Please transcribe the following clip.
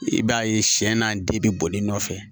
I b'a ye siɲɛ n'a di bɛ boli nɔfɛ